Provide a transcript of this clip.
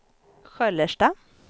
Sköllersta